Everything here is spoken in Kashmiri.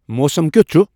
موسم کِیُتھ چُھ ۔